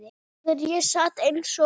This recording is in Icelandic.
Þegar ég sat eins og